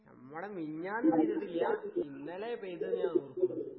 നമ്മടെ മിഞ്ഞാന്ന് പെയ്തിട്ടില്ല. ഇന്നലെ പെയ്തത് ഞാവോർക്കുന്നു.